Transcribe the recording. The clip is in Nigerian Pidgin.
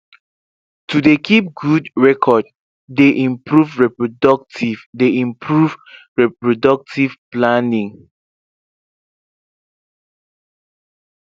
to dey keep good record dey improve reproductive dey improve reproductive palnning